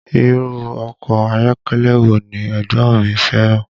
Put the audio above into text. Irú ọkọ ayọ́kẹ́lẹ́ wo ni ẹ̀gbọ́n mi fẹ́ràn?